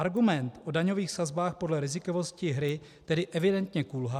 Argument o daňových sazbách podle rizikovosti hry tedy evidentně kulhá.